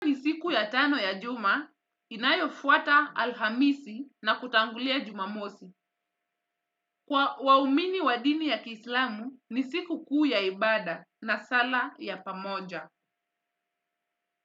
Siku ya tano ya juma inayofuata alhamisi na kutangulia jumamosi. Kwa waumini wa dini ya kiislamu ni sikukuu ya ibada na sala ya pamoja.